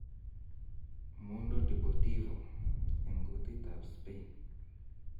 (Mundo Deportivo -eng kutit ab Spain